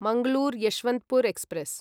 Mangalore Yesvantpur express